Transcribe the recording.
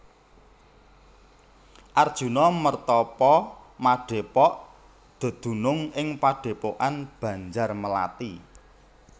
Arjuna mertapa madhepok dedunung ing padhepokan Banjarmelathi